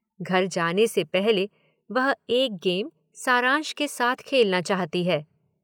घर जाने से पहले वह एक गेम सारांश के साथ खेलना चाहती है।